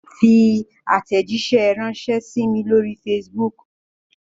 Fi àtẹ̀jíṣẹ́ ránṣẹ sí mí lóri facebook!